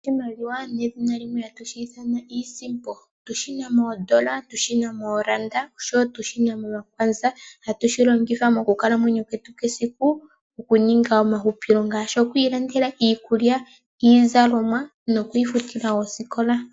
Oshimaliwa nedhina limwe hatu shithana iisimpo otushina mondola, otushina moranda, oshowo otushina momakwanza ohatu shilongitha mo kukala mwenyo kwetu kesiku okuninga omahupilo ngashi okwilandela iikulya, iizalomwa nokwi futila osikola.